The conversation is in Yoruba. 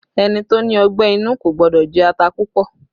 Ẹni tó ní ọgbẹ́ inú kò gbọ́dọ̀ jẹ ata púpọ̀